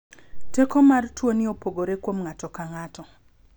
Teko mar tuo ni opogore kuom ng'ato ka ng'ato.